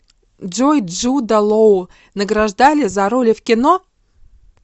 джой джуда лоу награждали за роли в кино